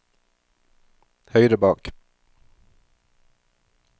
høyre bak